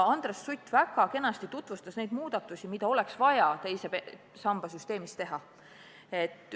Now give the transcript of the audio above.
Andres Sutt tutvustas väga kenasti neid muudatusi, mida teise samba süsteemis oleks vaja teha.